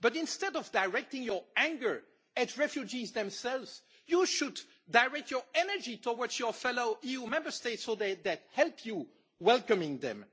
EU. But instead of directing your anger at refugees themselves, you should direct your energy towards your fellow EU Member States so that they help you in welcoming them.